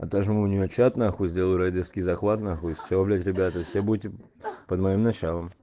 отожму у нее чат нахуй сделаю рейдерский захват нахуй и все блять ребята все будете под моим началом